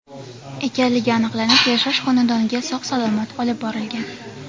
ekanligi aniqlanib, yashash xonadoniga sog‘-salomat olib borilgan.